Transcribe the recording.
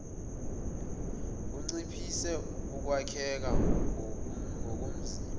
kunciphise ukwakheka ngokomzimba